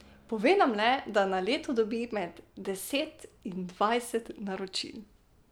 Pove nam le, da na leto dobi med deset in dvajset naročil.